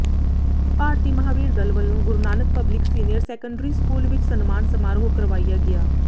ਭਾਰਤੀ ਮਹਾਵੀਰ ਦਲ ਵੱਲੋਂ Guru Nanak public senior secondary school ਵਿੱਚ ਸਨਮਾਨ ਸਮਾਰੋਹ ਕਰਵਾਇਆ ਗਿਆ